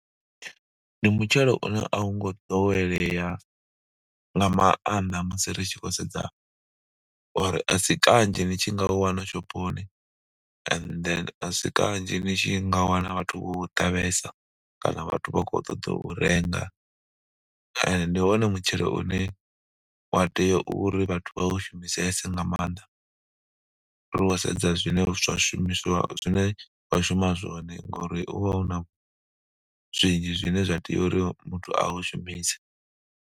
Ndi mutshelo une a wu ngo ḓowelea nga maanḓa musi ri tshi khou sedza or a si kanzhi ni tshi nga wana shophoni and then a si kanzhi ni tshi nga wana vhathu vho u ṱavhesa kana vhathu vha khou ṱoḓa u renga. ndi wone mutshelo une wa tea uri vhathu vha u shumisese nga maanḓa ri khou sedza zwine zwa shumiswa zwine wa shuma zwone ngori u vha u na zwinzhi zwine muthu a tea uri muthu a u shumise.